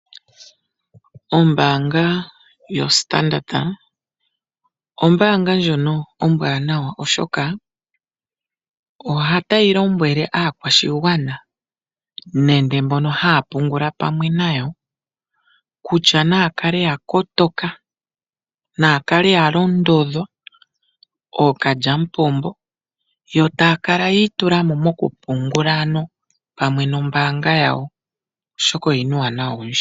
Ombaanga yoStandard ombaanga ndjono ombwaanawa, oshoka otayi lombwele aakwashigwana nenge mbono haya pungula pamwe nayo kutya naya kale ya kotoka, naya kale ya londoka omolwa ookalyamupombo, yo taya kala yi itula mo mokupungula pamwe nombaanga yawo, oshoka oyi na uuwanawa owundji.